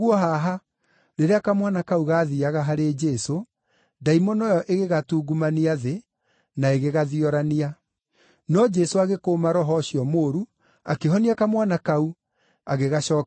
Rĩrĩa kamwana kau gaathiiaga harĩ Jesũ, ndaimono ĩyo ĩgĩgatungumania thĩ, na ĩgĩgathiorania. No Jesũ agĩkũũma roho ũcio mũũru, akĩhonia kamwana kau, agĩgacookeria ithe.